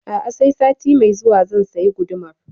A'a sai sati mai zuwa zan sayi gudumar